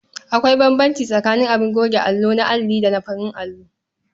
Akwai bambanci tsakaning abin goge allo na alli da farin allo.